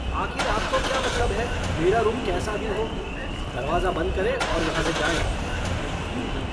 आखिर आपको क्या मतलब है, मेरा रूम कैसा भी हो? दरवाज़ा बंद करें और यहां से जाएँ। बेटा